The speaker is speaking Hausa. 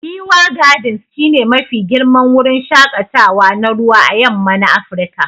Giwa gardens shi ne Mafi girman wurin shakatawa na ruwa à yamma na Afirka.